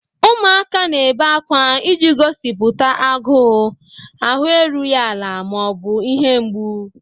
Ụmụaka na-ebe akwa iji gosipụta agụụ, ahụ erughị ala, ma ọ bụ ihe mgbu.